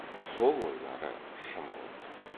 сол ойлары шын болды